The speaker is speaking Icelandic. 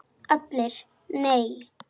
ALLIR: Nei!